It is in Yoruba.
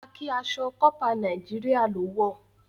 Khaki aṣọ corper Nàìjíríà lọ wọ.